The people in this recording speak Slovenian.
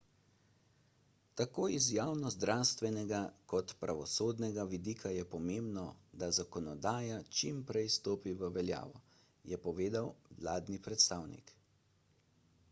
tako iz javnozdravstvenega kot pravosodnega vidika je pomembno da zakonodaja čimprej stopi v veljavo je povedal vladni predstavnik